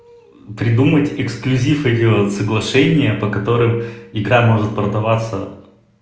придумать эксклюзив и делать соглашение по которым игра может продаваться